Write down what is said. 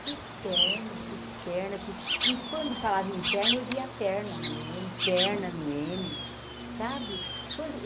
Que perna, que perna quis... E quando falava em perna, eu via perna no eme, perna no ene, sabe? quando